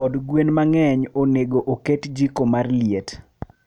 Od gwen mangeny onego oket jiko mar liet